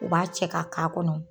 U b'a cɛ ka k' a kɔnɔ.